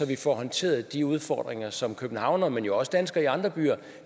vi får håndteret de udfordringer som københavnere men jo også danskere i andre byer